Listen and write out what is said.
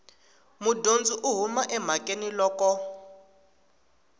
mudyondzi u huma emhakeni loko